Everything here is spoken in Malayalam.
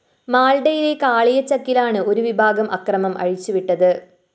മാള്‍ഡയിലെ കാളിയചക്കിലാണ് ഒരു വിഭാഗം അക്രമം അഴിച്ചുവിട്ടത്